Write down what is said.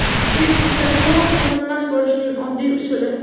Facebook’da to‘liq ko‘rinmas bo‘lishning oddiy usuli.